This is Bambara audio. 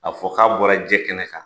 A fɔ ka bɔra jɛ kɛnɛ kan.